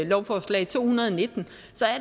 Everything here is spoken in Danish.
lovforslag to hundrede og nitten